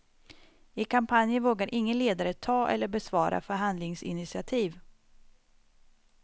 I kampanjen vågar ingen ledare ta eller besvara förhandlingsinitiativ.